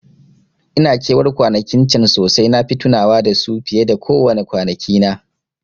Ina ke war kwanakin can sosai, nafi tunawa da su fiye ko wace kwana kina